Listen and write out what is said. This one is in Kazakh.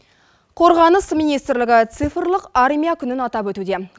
қорғаныс министрлігі цифрлық армия күнін атап өтуде